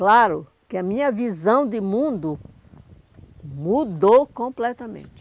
Claro que a minha visão de mundo mudou completamente.